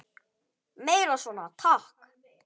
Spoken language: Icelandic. Meira svona, takk!